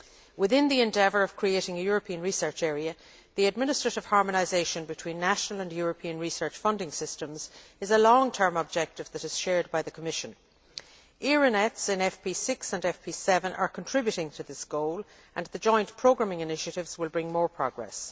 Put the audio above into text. Within the endeavour of creating a European research area, the administrative harmonisation between national and European research funding systems is a long term objective which is shared by the Commission. ERA NETS in FP6 and FP7 are contributing to this goal and the joint programming initiatives will bring more progress.